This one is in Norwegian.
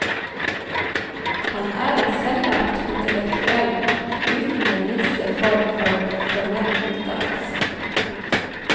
Han er en selvlært intellektuell uten den minste form for formell utdannelse. punktum